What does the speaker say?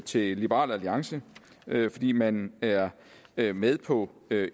til liberal alliance fordi man er er med på